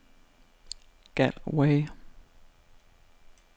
Galway